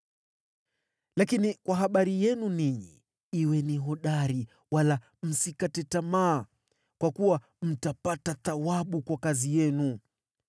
Lakini kwa habari yenu ninyi, kuweni hodari wala msikate tamaa, kwa kuwa mtapata thawabu kwa kazi yenu.”